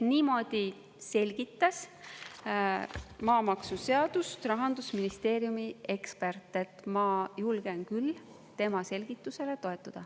Niimoodi selgitas maamaksuseadust Rahandusministeeriumi ekspert, ma julgen küll tema selgitusele toetuda.